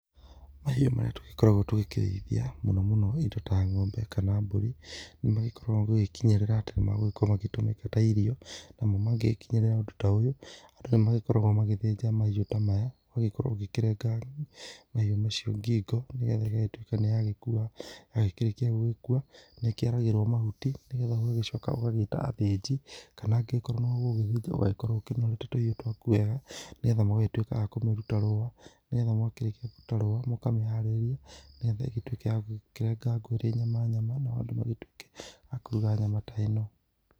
Mahĩũ marĩa tũgĩkoragwo tũkĩreĩthĩa mũno mũno ĩndo ta ng'ombe kana mbũrĩ, nĩmagĩkoragwo gũgĩkĩnyerĩra atĩ nĩmekũhothĩrwo ta ĩrĩo. Nagũo mangĩkĩnyererea ũndũ ta oyũ, andũ nĩ magĩkoragwo magĩthenja mahĩũ ta maya. Ũgagĩkorwo ũkĩrenga mahĩũ macĩo ngĩgo nĩgetha ĩgagĩtũĩka nĩ ya gĩkũwa. Ya gĩkĩrekĩa nĩ gũkũwa nĩkĩyaragĩrwo mahũtĩ nĩgetha ũgũgagĩcoka gũĩtwa athĩnjĩ. Kana agĩkorwo nĩwe ũgũgĩthĩnja ũgagĩkorwo ũnorete tũhĩũ twaku wega, nĩgetha mũgagĩtũĩka akũmĩrũta rũwa. Nĩgetha mwakerekĩa kũrũta rũwa mũkameharerĩa, nĩgetha ĩgagĩtũĩka ya gũkĩregagwo ĩrĩ nyama nyama. Nao andũ magĩtũĩkĩ akũrũga nyama ta ĩno.